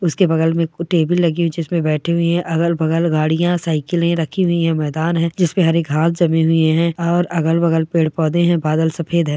उसके बगल में टेबल लगी हुई जिस पर बैठे हुए हैं अगल-बगल गाड़ियां साइकिल रखी हुई है मैदान है जिस पर हरी घास जमी हुई है और अगल-बगल पेड़-पौधे है बादल सफेद है।